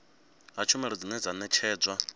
ha tshumelo dzine dza ṋetshedzwa